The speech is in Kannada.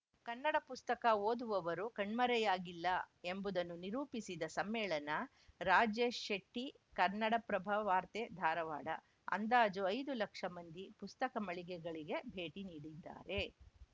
ಕನ್ನಡ ಪುಸ್ತಕ ಓದುವವರು ಕಣ್ಮರೆಯಾಗಿಲ್ಲ ಎಂಬುದನ್ನು ನಿರೂಪಿಸಿದ ಸಮ್ಮೇಳನ ರಾಜೇಶ್‌ ಶೆಟ್ಟಿ ಕನ್ನಡಪ್ರಭ ವಾರ್ತೆ ಧಾರವಾಡ ಅಂದಾಜು ಐದು ಲಕ್ಷ ಮಂದಿ ಪುಸ್ತಕ ಮಳಿಗೆಗಳಿಗೆ ಭೇಟಿ ನೀಡಿದ್ದಾರೆ